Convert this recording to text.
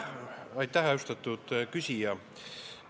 Aitäh, austatud küsija!